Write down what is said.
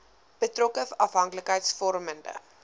betrokke afhanklikheids vormende